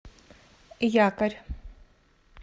якорь